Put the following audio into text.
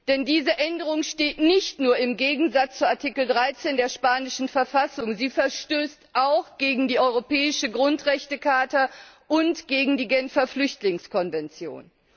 Denn diese Änderung steht nicht nur im Widerspruch zu Artikel 13 der spanischen Verfassung, sie verstößt auch gegen die Europäische Grundrechtecharta und gegen die Genfer Flüchtlingskonvention.